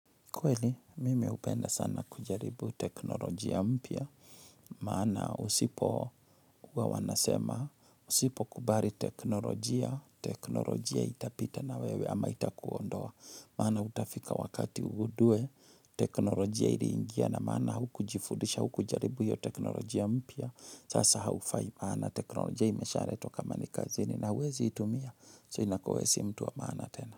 Kweli, mimi hupenda sana kujaribu teknolojia mpya. Maana usipo huwa wanasema, usipo kubari teknolojia. Teknolojia itapita na wewe ama itakuondoa. Maana utafika wakati ugudue, teknolojia ili ingia na maana huku jifudisha, huku jaribu yu teknolojia mpya. Sasa haufaima. Teknolojia imeshaletwa kama ni kazini na huwezi itumia. So inakuwa wewe si mtu wa maana tena.